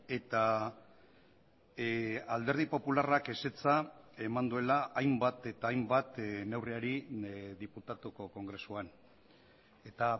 eta alderdi popularrak ezetza eman duela hainbat eta hainbat neurriari diputatuko kongresuan eta